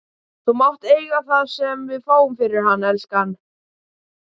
Þú mátt eiga það sem við fáum fyrir hann, elskan.